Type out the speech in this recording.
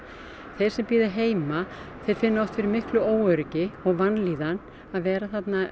þeir sem bíða heima þeir finna oft fyrir miklu óöryggi og vanlíðan að vera